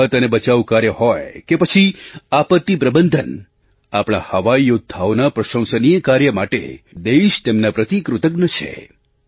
રાહત અને બચાવ કાર્ય હોય કે પછી આપત્તિ પ્રબંધન આપણા હવાઈ યૌદ્ધાઓના પ્રશંસનીય કાર્ય માટે દેશ તેમના પ્રતિ કૃતજ્ઞ છે